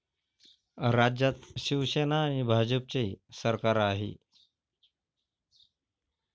राज्यात शिवसेना आणि भाजपचे सरकार आहे.